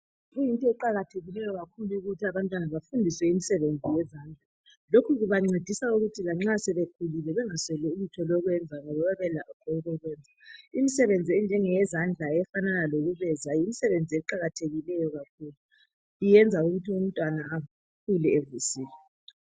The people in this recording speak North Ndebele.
Kuyinto eqakathekileyo kakhulu ukuthi abantwana bafundiswe imisebenzi yezandla lokhu kubancedisa ukuthi lanxa sebekhulile bengasweli ulutho lokwenza ngoba bayabelakho okokwenza. Imsebenzi yezandla efanana lokusebeza yimsebenzi eqakathekileyo kakhulu, iyenza ukuthi umntwana akhule evusile.